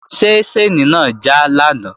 Ṣé ṣáìnì náà já lánàá?